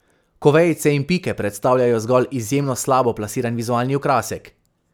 Ko vejice in pike predstavljajo zgolj izjemno slabo plasiran vizualni okrasek.